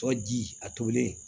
Tɔ ji a tobilen